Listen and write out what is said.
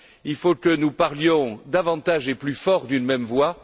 Il faut que nous parlions davantage et plus fort d'une même voix.